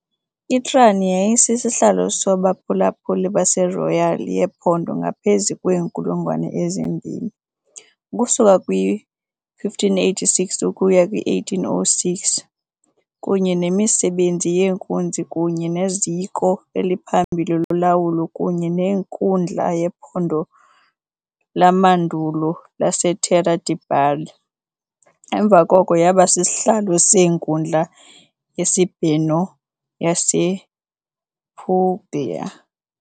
I-Trani yayiyisihlalo sabaphulaphuli baseRoyal yephondo ngaphezu kweenkulungwane ezimbini, ukusuka kwi-1586 ukuya kwi-1806, kunye nemisebenzi yenkunzi kunye neziko eliphambili lolawulo kunye nenkundla yephondo lamandulo laseTerra di Bari, emva koko yaba sisihlalo seNkundla yeSibheno yasePuglia.